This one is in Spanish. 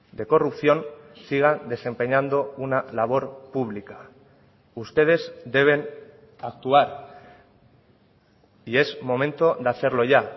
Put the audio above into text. de corrupción sigan desempeñando una labor pública ustedes deben actuar y es momento de hacerlo ya